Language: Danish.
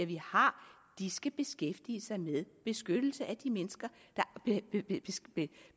vi har skal beskæftige sig med beskyttelse af de mennesker der